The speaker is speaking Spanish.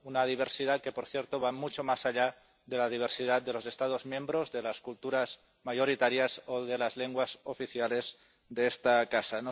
una diversidad que, por cierto, va mucho más allá de la diversidad de los Estados miembros, de las culturas mayoritarias o de las lenguas oficiales de esta casa.